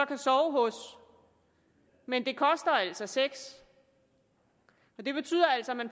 kan sove hos men det koster altså sex og det betyder altså at man